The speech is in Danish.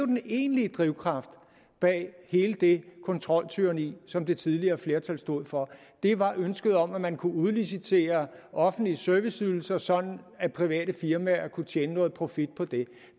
den egentlige drivkraft bag hele det kontroltyranni som det tidligere flertal stod for var ønsket om at man kunne udlicitere offentlige serviceydelser sådan at private firmaer kunne tjene noget profit på det